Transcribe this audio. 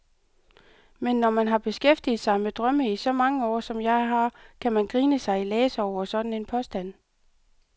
Men når man har beskæftiget sig med drømme i så mange år, som jeg har, kan man grine sig i laser over sådan en påstand.